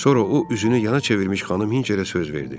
Sonra o üzünü yana çevirmiş xanım Hinçerə söz verdi.